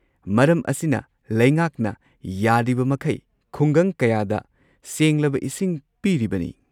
ꯃꯔꯝ ꯑꯁꯤꯅ ꯂꯩꯉꯥꯛꯅ ꯌꯥꯔꯤꯕꯃꯈꯩ ꯈꯨꯡꯒꯪ ꯀꯌꯥꯗ ꯁꯦꯡꯂꯕ ꯏꯁꯤꯡ ꯄꯤꯔꯤꯕꯅꯤ꯫